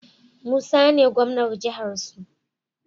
Musa ne gwamnan jahar su